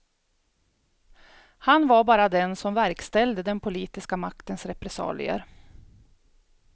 Han var bara den som verkställde den politiska maktens repressalier.